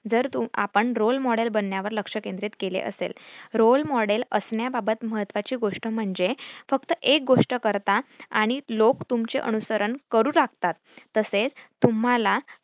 जर तो आपण role model बनण्यावर लक्ष केंद्रित केले असेल. role model असण्याबाबत महत्त्वाची गोष्ट म्हणजे फक्त एक गोष्ट करता आणि लोक तुमचे अनुसरण करू लागतात. तसेच तुम्हाला